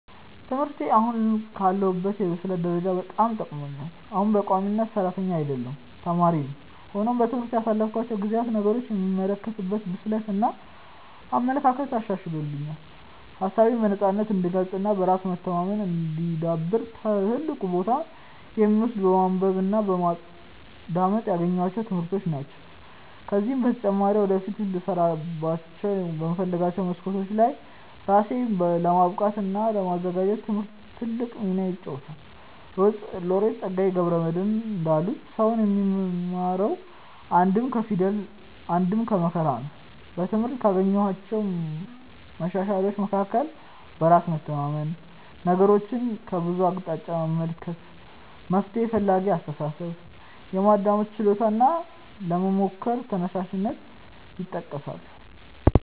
ትምህርቴ አሁን ላለሁበት የብስለት ደረጃ በጣም ጠቅሞኛል። አሁንም በቋሚነት ሰራተኛ አይደለሁም ተማሪ ነኝ። ሆኖም በትምህርት ያሳለፍኳቸው ጊዜያት ነገሮችን የምመለከትበትን ብስለት እና አመለካከት አሻሽሎልኛል። ሀሳቤነም በነፃነት እንድገልፅ እና በራስ መተማመኔ እንዲዳብር ትልቁን ቦታ የሚወስደው በማንበብ እና በማዳመጥ ያገኘኋቸው ትምህርቶች ናቸው። ከዚህም በተጨማሪ ወደፊት ልሰራባቸው በምፈልጋቸው መስኮች ላይ ራሴን ለማብቃት እና ለማዘጋጀት ትምህርት ትልቁን ሚና ይጫወታል። ሎሬት ፀጋዬ ገብረ መድህን እንዳሉት "ሰው የሚማረው አንድም ከፊደል አንድም ከመከራ ነው"።በትምህርት ካገኘኋቸው መሻሻሎች መካከል በራስ መተማመን፣ ነገሮችን ከብዙ አቅጣጫ መመልከት፣ መፍትሔ ፈላጊ አስተሳሰብ፣ የማዳመጥ ችሎታ እና ለመሞከር ተነሳሽነት ይጠቀሳሉ።